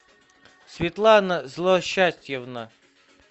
светлана злосчастьевна